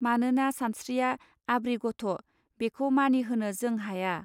मानोना सानस्त्रिया आब्रि गथ' बेखौ मानिहोनो जों हाया.